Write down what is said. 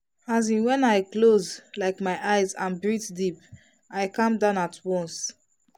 as in when i close like my eyes and breathe deep i calm down at once.